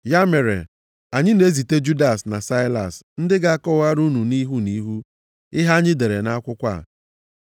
Ya mere, anyị na-ezite Judas na Saịlas ndị ga-akọwara unu nʼihu nʼihu, ihe anyị dere nʼakwụkwọ a.